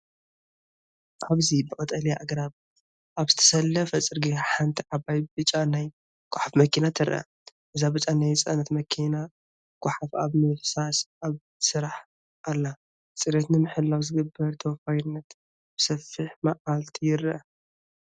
ኣብዚ ብቐጠልያ ኣግራብ ኣብ ዝተሰለፈ ጽርግያ፡ ሓንቲ ዓባይ ብጫ ናይ ጎሓፍ መኪና ትርአ።" እዛ ብጫ ናይ ጽዕነት መኪናጎሓፍ ኣብ ምፍሳስ ኣብ ስራሕ ኣላ፤ ጽሬት ንምሕላው ዝግበር ተወፋይነት ብሰፊሕ መዓልቲ ይረአ።